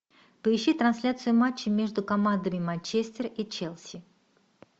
поищи трансляцию матча между командами манчестер и челси